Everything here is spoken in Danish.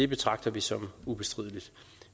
betragter vi som ubestrideligt